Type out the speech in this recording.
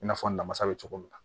I n'a fɔ namasa bɛ cogo min na